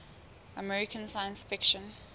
american science fiction